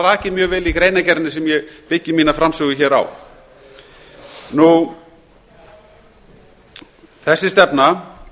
rakið mjög vel í greinargerðinni sem ég byggi mína framsögu á þessi stefna